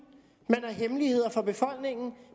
man har hemmeligheder for befolkningen